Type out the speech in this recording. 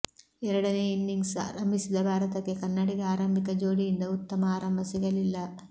ಎರಡನೇ ಇನ್ನಿಂಗ್ಸ್ ಆರಂಭಿಸಿದ ಭಾರತಕ್ಕೆ ಕನ್ನಡಿಗ ಆರಂಭಿಕ ಜೋಡಿಯಿಂದ ಉತ್ತಮ ಆರಂಬ ಸಿಗಲಿಲ್ಲ